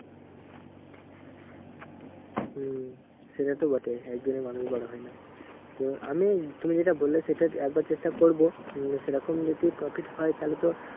হম সেটা তো বটেই একদিনে মানুষ বড় হয় না। তো আমি তুমি যেটা বললে, সেটা একবার চেষ্টা করবো। উম সেরকম যদি profit হয় তাহলে তো